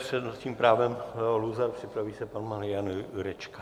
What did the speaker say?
S přednostním právem Leo Luzar, připraví se pan Marian Jurečka.